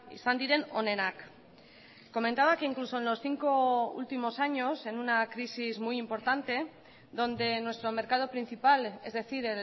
izan diren onenak comentaba que incluso en los cinco últimos años en una crisis muy importante donde nuestro mercado principal es decir